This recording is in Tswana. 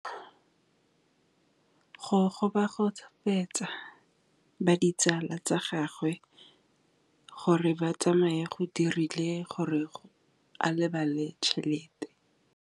Go gobagobetsa ga ditsala tsa gagwe, gore ba tsamaye go dirile gore a lebale tšhelete.